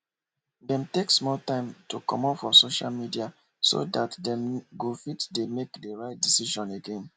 dem take small time to comot for social media so dat dem go fit dey make de rite decision again